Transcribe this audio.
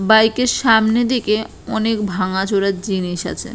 বাইকের সামনের দিকে অনেক ভাঙা চোরা জিনিস আছে।